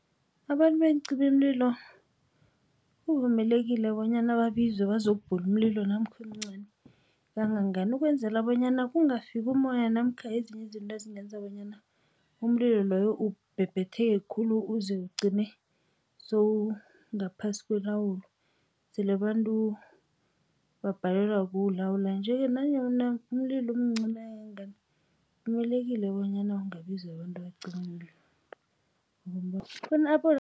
Abantu beencimamlilo kuvumelekile bonyana babizwe bazokubhula umlilo namkha umncani kangangani ukwenzela bonyana kungafiki umoya namkha ezinye izinto ezingenza bonyana umlilo loyo ubhebhetheke khulu uze ugcine sowungaphasi kwelawulo, sele abantu babhalelwa kulawula. Nje-ke nanyana umlilo umncani kangangani kuvumelekile bonyana ungabiza abantu abacima umlilo